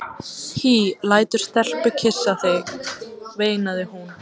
Hí lætur stelpu kyssa sig, veinaði hún.